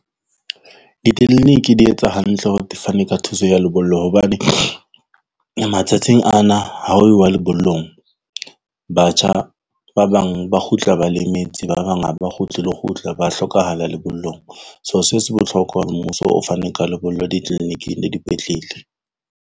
Ditleliniki di etsa hantle hore di fane ka thuso ya lebollo. Hobane matsatsing ana ha uwa lebollong batjha ba bang ba kgutla ba lemetse, ba bang haba kgutle le ho kgutla ba hlokahala lebollong. So, se se bohlokwa hore mmuso o fane ka lebollo di-clinic-ing le dipetlele.